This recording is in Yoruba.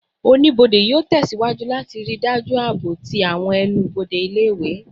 Onibode yoo tẹsiwaju lati rii daju aabo ti awọn ẹnu-bode ile-iwe